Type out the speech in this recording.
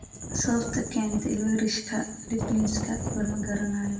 Sababta keenta ilweyrishka ligniska lama garanayo.